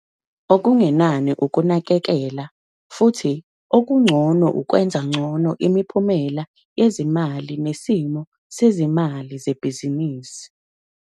Okungenani ukunakekela, futhi okungcono ukwenza ngcono imiphumela yezimali nesimo sezimali zebhizinisi.